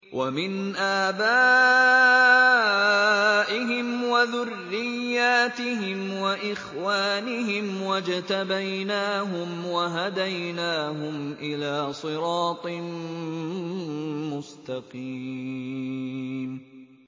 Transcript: وَمِنْ آبَائِهِمْ وَذُرِّيَّاتِهِمْ وَإِخْوَانِهِمْ ۖ وَاجْتَبَيْنَاهُمْ وَهَدَيْنَاهُمْ إِلَىٰ صِرَاطٍ مُّسْتَقِيمٍ